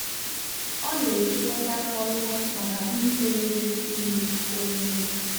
ọ na-ekekọta moi moi maka ndị na-eri ihe omume.